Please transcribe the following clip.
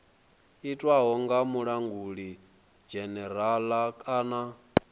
itwaho kha mulanguli dzhenerala kana